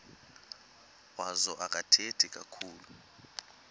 wazo akathethi kakhulu